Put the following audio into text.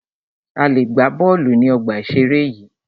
A lè gbà bọ́ọ̀lù ní ọgbà ìseré yìí